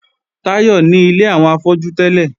Táyọ̀ ní ilé àwọn afọ́jú tẹ́lẹ̀